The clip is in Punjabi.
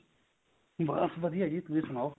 ਬਸ ਵਧੀਆ ਜੀ ਤੁਸੀਂ ਸਨਾਓ